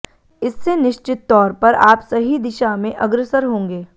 इससे निश्चित तौर पर आप सही दिशा में अग्रसर होंगे